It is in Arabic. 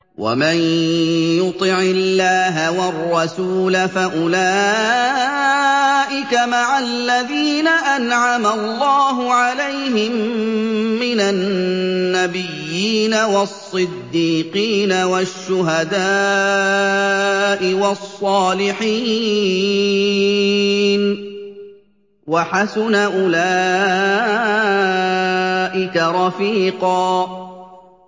وَمَن يُطِعِ اللَّهَ وَالرَّسُولَ فَأُولَٰئِكَ مَعَ الَّذِينَ أَنْعَمَ اللَّهُ عَلَيْهِم مِّنَ النَّبِيِّينَ وَالصِّدِّيقِينَ وَالشُّهَدَاءِ وَالصَّالِحِينَ ۚ وَحَسُنَ أُولَٰئِكَ رَفِيقًا